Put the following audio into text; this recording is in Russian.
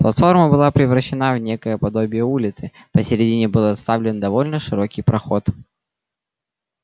платформа была превращена в некое подобие улицы посередине был оставлен довольно широкий проход